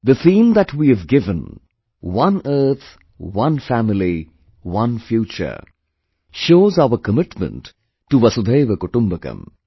The theme that we have given "One Earth, One Family, One Future" shows our commitment to Vasudhaiva Kutumbakam